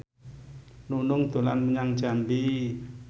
Nunung dolan menyang Jambi